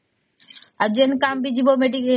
ଆଉ ଯେନ କାମ ବି ଯିବା